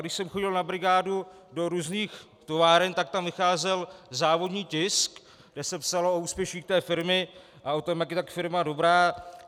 Když jsem chodil na brigádu do různých továren, tak tam vycházel závodní tisk, kde se psalo o úspěších té firmy a o tom, jak je ta firma dobrá.